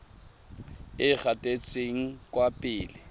e e gatetseng kwa pele